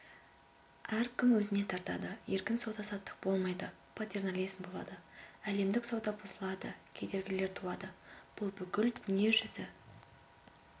әркім өзіне тартады еркін сауда-саттық болмайды патернализм болады әлемдік сауда бұзылады кедергілер туады бұл бүкіл дүниежүзі